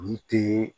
Yiri tɛ